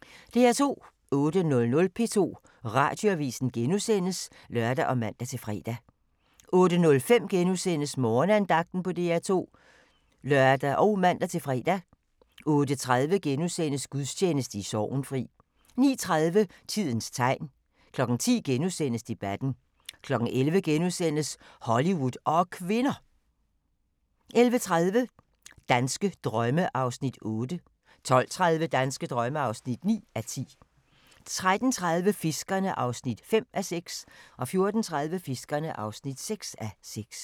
08:00: P2 Radioavis *(lør og man-fre) 08:05: Morgenandagten på DR2 *(lør og man-fre) 08:30: Gudstjeneste i Sorgenfri * 09:30: Tidens tegn 10:00: Debatten * 11:00: Hollywood og kvinder! * 11:30: Danske drømme (8:10) 12:30: Danske drømme (9:10) 13:30: Fiskerne (5:6) 14:30: Fiskerne (6:6)